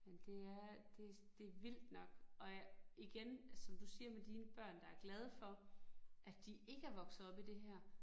Men det er det det vildt nok, og jeg igen som du siger med dine børn, der er glade for, at de ikke er vokset op i det her